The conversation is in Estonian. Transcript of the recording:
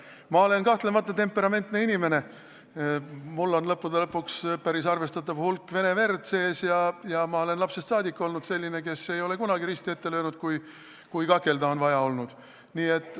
Ma olen kahtlemata temperamentne inimene, mul on lõppude lõpuks päris arvestatav hulk vene verd soontes ja ma olen lapsest saadik olnud selline, kes ei ole kunagi risti ette löönud, kui on olnud vaja kakelda.